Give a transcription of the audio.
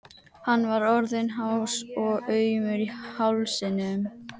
Hann var orðinn hás og aumur í hálsinum.